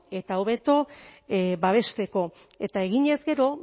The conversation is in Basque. eta hobeto babesteko eta eginez gero